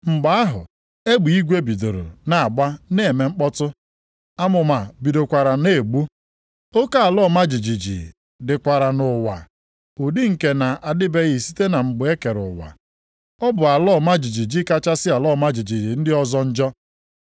Mgbe ahụ egbe eluigwe bidoro na-agba na-eme mkpọtụ, amụma bidokwara na-egbu, oke ala ọma jijiji dịkwara nʼụwa, ụdị nke na-adịbeghị site na mgbe e kere ụwa. Ọ bụ ala ọma jijiji kachasị ala ọma jijiji ndị ọzọ njọ.